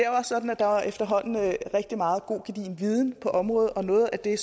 også sådan at der efterhånden er rigtig meget god gedigen viden på området og noget af det